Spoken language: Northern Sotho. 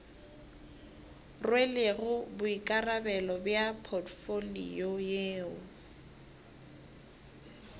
rwelego boikarabelo bja potfolio yeo